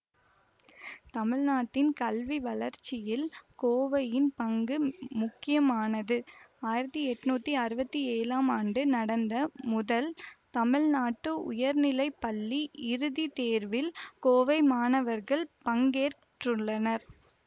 தமிழ்நாட்டின் கல்வி வளர்ச்சியில் கோவையின் பங்கு முக்கியமானது ஆயிரத்தி எட்ணூத்தி அறுவத்தி ஏழாம் ஆண்டு நடந்த முதல் தமிழ்நாடு உயர்நிலை பள்ளி இறுதி தேர்வில் கோவை மாணவர்கள் பங்கேற்றுள்ளனர்